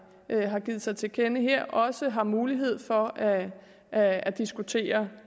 har givet sig til kende her også har mulighed for at at diskutere